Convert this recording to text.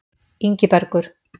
Ingibergur